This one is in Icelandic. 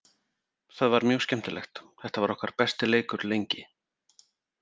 Það var mjög skemmtilegt, þetta var okkar besti leikur lengi.